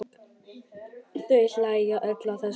Þau hlæja öll að þessu.